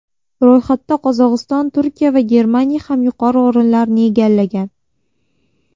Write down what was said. Ro‘yxatda Qozog‘iston, Turkiya va Germaniya ham yuqori o‘rinlarni egallagan.